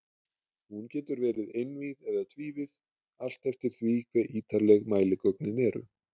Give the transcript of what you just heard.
Hún getur verið einvíð eða tvívíð, allt eftir því hve ítarleg mæligögnin eru.